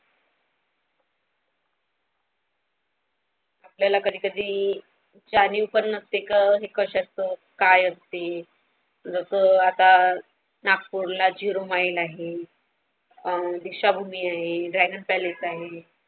आपल्याला कधी कधी जाणीव पण नसते क एक असतं काय असते जसा आता नागपूरला Zero mile आहे अहं दीक्षाभूमी आहे Dragon Palace आहे.